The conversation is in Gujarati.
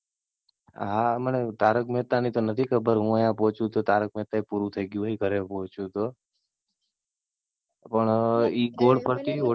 હા મને તારક મહેતા ની તો નથી ખબર, હું ત્યાં પહોચું તો તારક મહેતા ય પૂરું થઇ ગયું હોય ઘરે પહોચું તો. પણ ઈ ગોળ ફરતી હોટલ